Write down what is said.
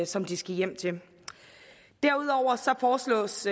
som de skal hjem til derudover foreslås